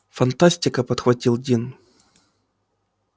фантастика подхватил дин